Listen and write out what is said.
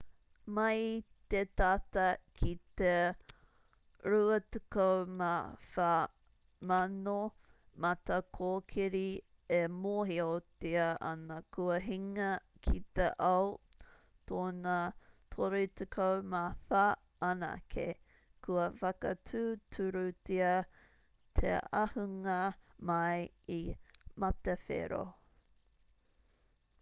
mai i te tata ki te 24,000 matakōkiri e mōhiotia ana kua hinga ki te ao tōna 34 anake kua whakatūturutia te ahunga mai i matawhero